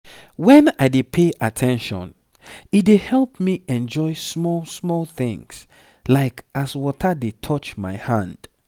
when i dey pay at ten tion e dey help me enjoy small-small things like as water dey touch my hand